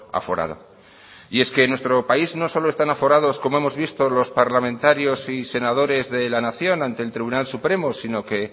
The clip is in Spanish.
aforado y es que nuestro país no solo están aforados como hemos visto los parlamentarios y senadores de la nación ante el tribunal supremo sino que